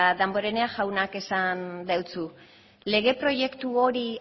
damborenea jaunak esan deutsu lege proiektu hori